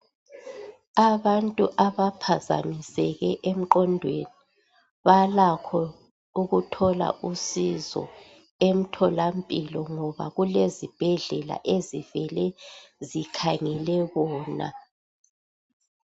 abantu abaphazamiseke emqondweni balakho ukuthola usizo emtholampilo ngoba kulezibhedlela ezivele zikhangele bona